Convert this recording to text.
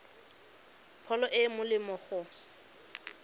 pholo e e molemo go